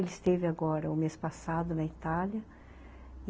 Ele esteve agora, no mês passado, na Itália.